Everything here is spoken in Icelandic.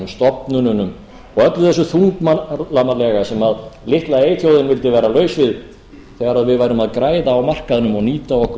stofnununum og öllu þessu þunglamalega sem litla eyþjóðin vildi vera laus við þegar við værum að græða á markaðnum og nýta okkur